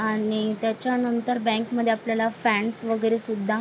आणि त्याच्या नंतर बँक मध्ये आपल्याला फॅनस वगैरे सुद्धा.